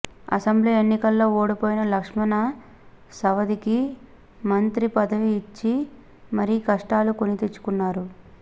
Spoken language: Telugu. అసెంబ్లీ ఎన్నికల్లో ఓడిపోయిన లక్ష్మణ సవదికి మంత్రి పదవి ఇచ్చి మరి కష్టాలు కొని తెచ్చుకున్నారు